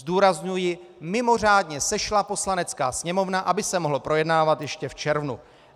Zdůrazňuji, mimořádně sešla Poslanecká sněmovna, aby se mohl projednávat ještě v červnu.